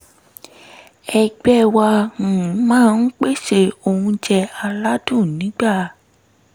ẹgbẹ́ wa um máa ń pèsè oúnjẹ aládùn nígbà